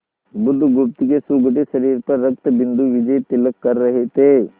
बुधगुप्त के सुगठित शरीर पर रक्तबिंदु विजयतिलक कर रहे थे